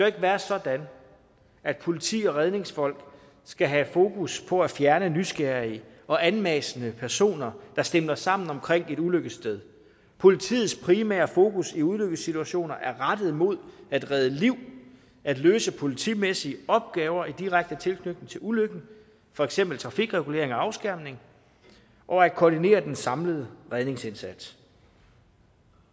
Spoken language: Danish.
ikke være sådan at politi og redningsfolk skal have fokus på at fjerne nysgerrige og anmassende personer der stimler sammen omkring et ulykkessted politiets primære fokus i ulykkessituationer er rettet mod at redde liv at løse politimæssige opgaver i direkte tilknytning til ulykken for eksempel trafikregulering og afskærmning og at koordinere den samlede redningsindsats